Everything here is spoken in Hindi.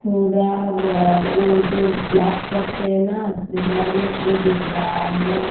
थोड़ा वो जो ब्लैक करते हैं ना हेयर में वो दिख रहा है.